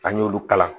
An y'olu kalan